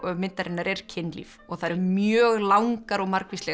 myndarinnar er kynlíf og það eru mjög langar og margvíslegar